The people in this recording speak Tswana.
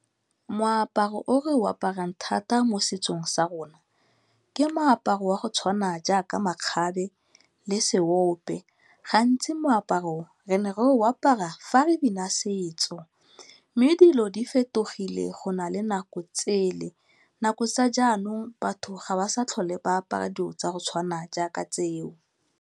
Moaparo o re o aparang thata mo setsong sa rona ke moaparo wa go tshwana jaaka makgabe le seope. Gantsi moaparo o, re ne re o apara fa re bina setso mme dilo di fetogile go na le nako tsele. Nako tsa jaanong batho ga ba sa tlhole ba apara dilo tsa go tshwana jaaka tseo.